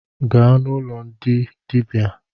Gaa n’ụlọ ndị dịbia